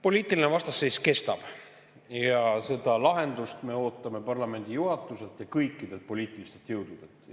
Poliitiline vastasseis kestab ja lahendust me ootame parlamendi juhatuselt ja kõikidelt poliitilistelt jõududelt.